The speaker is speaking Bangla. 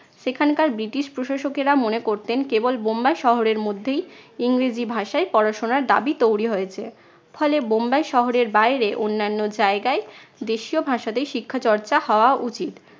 সেখানকার ব্রিটিশ প্রশাসকেরা মনে করতেন কেবল বোম্বাই শহরের মধ্যেই ইংরেজি ভাষায় পড়াশোনার দাবি তৈরী হয়েছে। ফলে বোম্বাই শহরের বাইরে অন্যান্য জায়গায় দেশীয় ভাষাতেই শিক্ষা চর্চা হওয়া উচিৎ।